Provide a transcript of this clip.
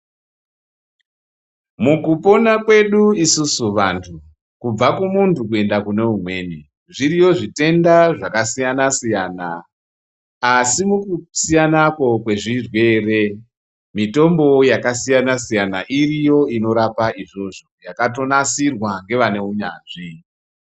Mukupona kwedu isusu vantu, kubva kumuntu kuenda kune umweni, zviriyo zvitenda zvakasiyana-siyana, asi mukusiyanako kwezvirwere, mitombowo yakasiyana-siyana iriyo inorapa izvozvo, yakatonasirwa ngevane unyanzvi.